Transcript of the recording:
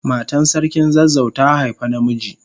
Matan sarkin zazzau ta haifa na miji.